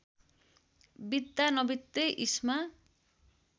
बित्दा नबित्दै इस्मा